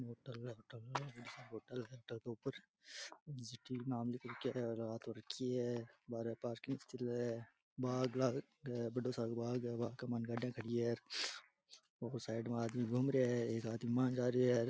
Hotel के ऊपर नाम लिख रखयो है और रात हो रखी है बारे पार्किंग सी चले बाग है बड़ो सारो बाग है बाग के मायने गाड़िया खड़ी है और साइड में आदमी घूम रहिया है एक आदमी मायने जा रहियो है।